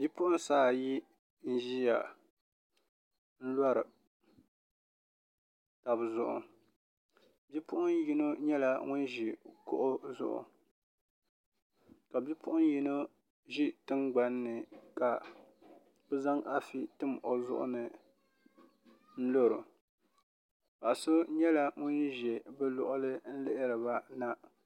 Bi puɣuŋsi ayi n ziya n lɔri taba zuɣu bipuɣun yino yɛla ŋuni zi kuɣu zuɣu ka bipuɣun yino zi tiŋgani ni ka bi zaŋ afi timi o zuɣu ni n lori o paɣa so yɛla ŋuni zɛ bi luɣili n lihiri ba na.